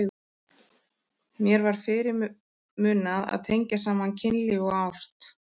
Mér var fyrirmunað að tengja saman kynlíf og ást.